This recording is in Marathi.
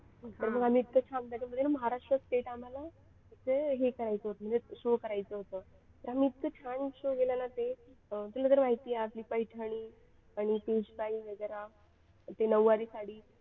तर मग आम्ही इतकं छान त्याच्यामध्ये महाराष्ट्र state आम्हाला त्याचं हे करायचं होतं म्हणजे show करायचं होतं ते आम्ही इतकं छान show केलं ना ते तुला तर माहिती आहे आपली पैठणी आणि पेशवाई वगैरे ते नऊवारी साडी.